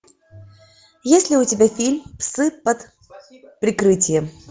есть ли у тебя фильм псы под прикрытием